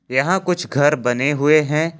यहां कुछ घर बने हुए हैं।